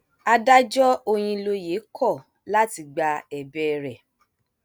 adájọ òyìnlóye kọ láti gba ẹbẹ rẹ